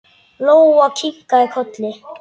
Lóa kinkaði kolli.